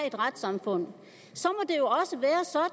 et retssamfund så